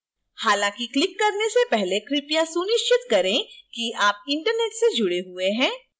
हालांकि क्लिक करने से पहले कृपया सुनिश्चित करें कि आप internet से जुड़े हुए हैं